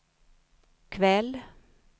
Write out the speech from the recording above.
kväll